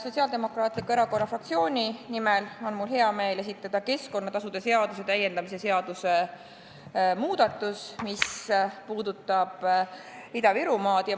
Sotsiaaldemokraatliku Erakonna fraktsiooni nimel on mul hea meel anda üle keskkonnatasude seaduse täiendamise seaduse eelnõu, mis puudutab Ida-Virumaad.